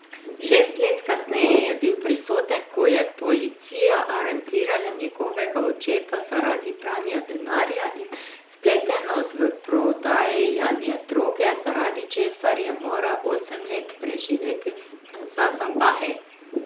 Šest let kasneje je bil prisoten, ko je policija aretirala njegovega očeta zaradi pranja denarja in vpletenosti v prodajanje droge, zaradi česar je moral osem let preživeti za zapahi.